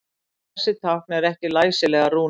Þessi tákn eru ekki læsilegar rúnir.